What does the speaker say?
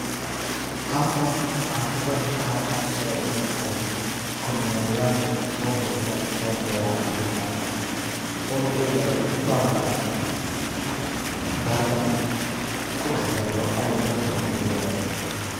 Halkan waxaan ku qeexi kara waxa kasocda inay tahay kormerayaal so boqdeen beer beeraha kamid ah oo na eegayo dalaga beertan kudax yaalo ama beertan lagu beere.